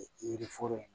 Yiri foro in